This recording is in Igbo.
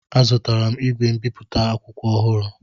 Azụtara m igwe mbipụta akwụkwọ ọhụrụ